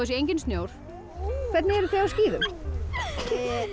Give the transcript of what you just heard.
sé enginn snjór hvernig eruð þið á skíðum